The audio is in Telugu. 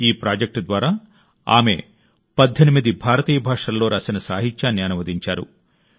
ఈ ప్రాజెక్ట్ ద్వారా ఆమె 18 భారతీయ భాషలలో రాసిన సాహిత్యాన్ని అనువదించారు